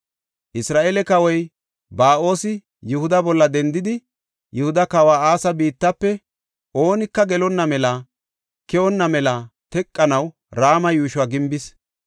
Isra7eele kawoy Ba7oosi Yihuda bolla dendidi, Yihuda kawa Asa biittafe oonika gelonna melanne keyonna mela teqanaw Rama yuushuwa gimbis.